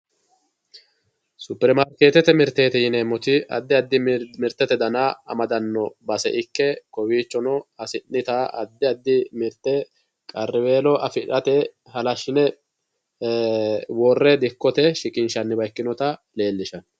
Superimaarketete mirteti yineemmoti addi addi mirtete dana amadano base ikke kowichono hasi'nitta addi addi mirte qarriweelo affirate halashine worre dikkote shiqqinshanniwa ikkinotta leelishano.